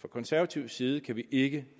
fra konservativ side kan vi ikke